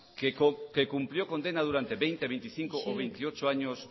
que cumplió condena durante veinte veinticinco o veintiocho años